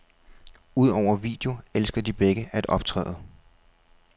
Udover video elsker de begge at optræde.